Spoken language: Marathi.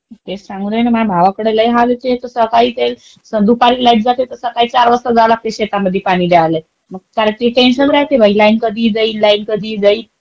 तेच सांगून राहिले माझ्या भावाला कडे लई हाल आहे ते सकाळी तेच. दुपारी लाईट जाते तर सकाळी चार वाजता जावं लागतंय शेतामध्ये पाणी द्द्यायला. मग त्याला ते लई टेन्शन राहते बाई लाईन कधी जाईल, लाईन कधी जाईल.